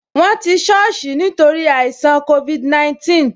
Won ti soosi nítorí àìṣàn covid 19